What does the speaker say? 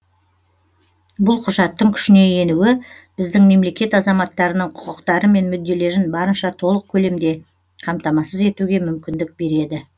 бұл құжаттың күшіне енуі біздің мемлекет азаматтарының құқықтары мен мүдделерін барынша толық көлемде қамтамасыз етуге мүмкіндік береді